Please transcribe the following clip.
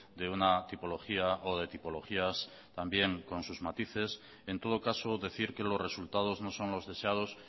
de una tipología o de tipologías también con sus matices en todo caso decir que los resultados no son los deseados